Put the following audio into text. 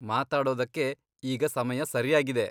ಮಾತಾಡೊದಕ್ಕೆ ಈಗ ಸಮಯ ಸರ್ಯಾಗಿದೆ.